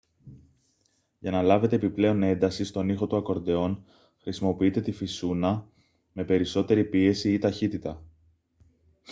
για να λάβετε επιπλέον ένταση στον ήχο του ακορντεόν χρησιμοποιείτε τη φυσούνα με περισσότερη πίεση ή ταχύτητα